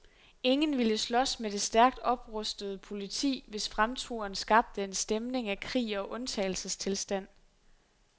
Ingen ville slås med det stærkt oprustede politi, hvis fremturen skabte en stemning af krig og undtagelsestilstand.